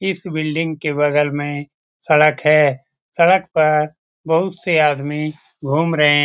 इस बिल्डिंग के बगल में सड़क है सड़क पर बहुत से आदमी घूम रहें --